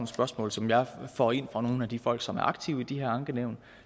spørgsmål som jeg får ind fra nogle af de folk som er aktive i de her ankenævn